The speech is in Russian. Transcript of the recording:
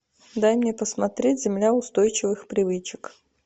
дай мне посмотреть земля устойчивых привычек